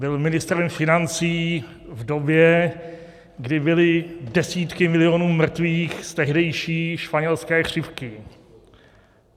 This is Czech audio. Byl ministrem financí v době, kdy byly desítky milionů mrtvých z tehdejší španělské chřipky.